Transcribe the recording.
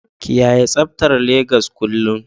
kiyaye tsabtar Legas kullum